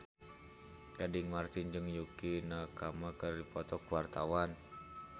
Gading Marten jeung Yukie Nakama keur dipoto ku wartawan